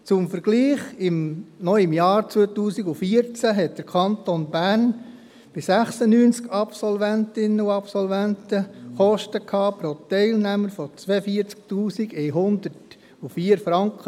Zum Vergleich: Noch im Jahr 2014 hatte der Kanton Bern bei 96 Absolventinnen und Absolventen Kosten pro Teilnehmer von 42 104 Franken.